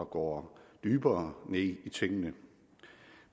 går dybere ned i tingene